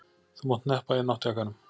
Þú mátt hneppa náttjakkanum.